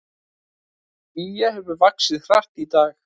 Gígja hefur vaxið hratt í dag